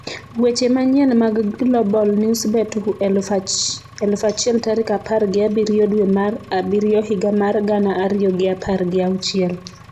Weche manyien mag Global Newsbeat 1000 tarik apar gi abiriyo dwe mar abiriyo higa mar gana ariyo gi apar gi auchiel